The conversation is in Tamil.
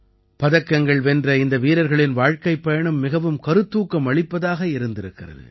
பதக்கங்கள் வென்ற இந்த வீரர்களின் வாழ்க்கைப் பயணம் மிகவும் கருத்தூக்கம் அளிப்பதாக இருந்திருக்கிறது